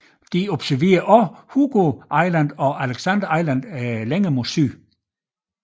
De observerede også Hugo Island og Alexander Island længere mod syd